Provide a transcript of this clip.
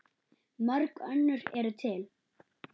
Mörg önnur eru til.